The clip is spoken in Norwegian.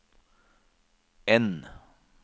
N